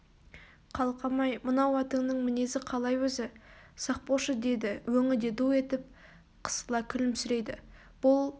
қалқам-ай мынау атыңның мінезі қалай өзі сақ болшы деді өңі де ду етіп қысыла күлімсірейді бұл